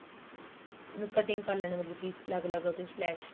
ਉਹਨੂੰ cutting ਕਰ ਲੈਣੀ ਮਤਲਬ ਕੀ ਅਲੱਗ ਅਲੱਗ ਅਤੇ slash